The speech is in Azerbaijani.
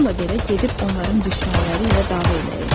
Bununla belə gedib onların düşmənləri ilə dava eləyirdi.